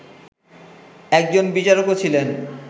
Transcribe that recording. একজন বিচারকও ছিলেন